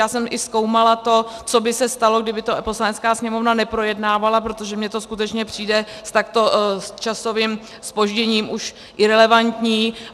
Já jsem i zkoumala to, co by se stalo, kdyby to Poslanecká sněmovna neprojednávala, protože mně to skutečně přijde s takto časovým zpožděním už irelevantní.